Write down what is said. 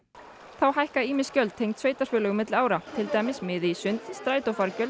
þá hækka ýmis gjöld tengd sveitarfélögum milli ára til dæmis miði í sund